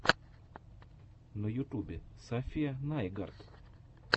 на ютьюбе сафия найгард